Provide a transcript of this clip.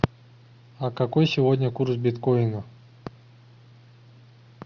а какой сегодня курс биткоина